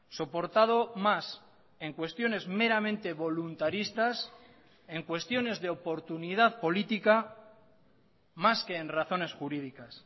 soportado más en cuestiones meramente voluntaristas en cuestiones de oportunidad política más que en razones jurídicas